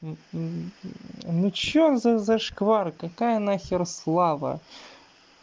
ну что за зашквар какая нахер слава